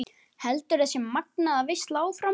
Heldur þessi magnaða veisla áfram?